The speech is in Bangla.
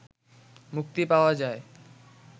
মুক্তি পাওয়া যায়